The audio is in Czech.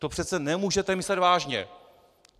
To přece nemůžete myslet vážně!